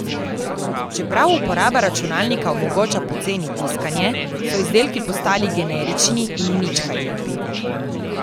Čeprav uporaba računalnika omogoča poceni tiskanje, so izdelki postali generični in nič kaj lepi.